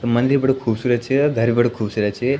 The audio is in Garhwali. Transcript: मंदिर बड़ी खुसुरत छ और घर भी बडू खुबसूरत छ ।